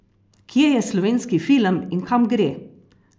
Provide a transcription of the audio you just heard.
Kje je slovenski film in kam gre?